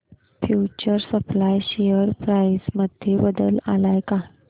future supply share price मध्ये बदल आलाय का